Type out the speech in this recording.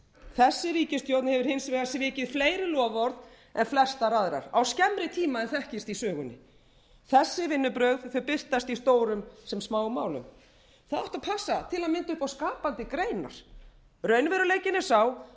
þessi ríkisstjórn hefur hins vegar svikið fleiri loforð en flestar aðrar á skemmri tíma en þekkist í sögunni þessi vinnubrögð birtast í stórum sem smáum málum það átti að passa til að mynda upp á skapandi greinar raunveruleikinn er sá